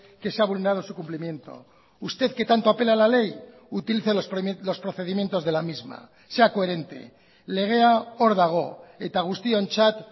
que se ha vulnerado su cumplimiento usted que tanto apela a la ley utilice los procedimientos de la misma sea coherente legea hor dago eta guztiontzat